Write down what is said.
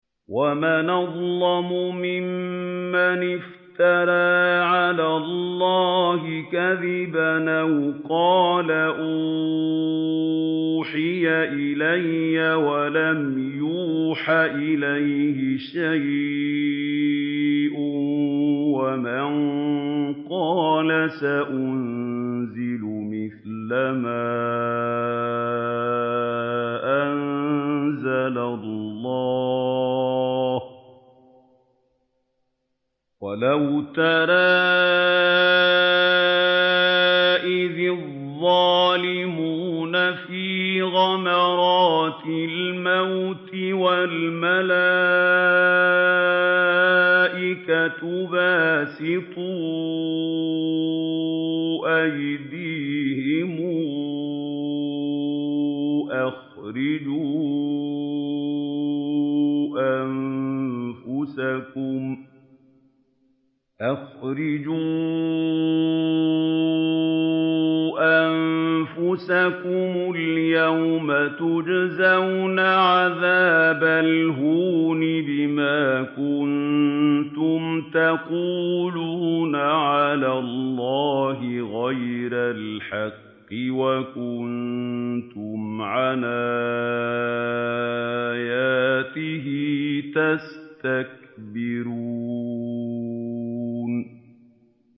وَمَنْ أَظْلَمُ مِمَّنِ افْتَرَىٰ عَلَى اللَّهِ كَذِبًا أَوْ قَالَ أُوحِيَ إِلَيَّ وَلَمْ يُوحَ إِلَيْهِ شَيْءٌ وَمَن قَالَ سَأُنزِلُ مِثْلَ مَا أَنزَلَ اللَّهُ ۗ وَلَوْ تَرَىٰ إِذِ الظَّالِمُونَ فِي غَمَرَاتِ الْمَوْتِ وَالْمَلَائِكَةُ بَاسِطُو أَيْدِيهِمْ أَخْرِجُوا أَنفُسَكُمُ ۖ الْيَوْمَ تُجْزَوْنَ عَذَابَ الْهُونِ بِمَا كُنتُمْ تَقُولُونَ عَلَى اللَّهِ غَيْرَ الْحَقِّ وَكُنتُمْ عَنْ آيَاتِهِ تَسْتَكْبِرُونَ